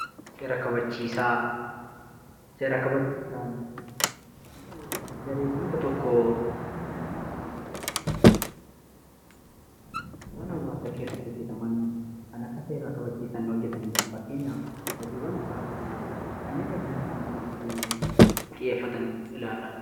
Seera kabachiisaan garee/tuuta tokko waan hawasaa keessatti hojeetaman kan akka seera kabachiisaan hojeetanidha. Faakkeenyaaf hojiiwwan tirakifikaa, kannen eegumsaa naannoo aairratti xiyyeefataan ilaalla.